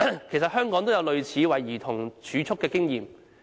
其實，香港也有類似為兒童儲蓄的經驗。